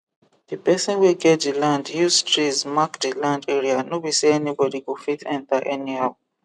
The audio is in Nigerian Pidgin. the person wey get the land use trees mark the land area no be say anybody go fit enter anyhow